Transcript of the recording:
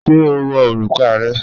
Ṣé o wọ̀ orúkà rẹ̀?